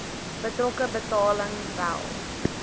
betrokke betaling wel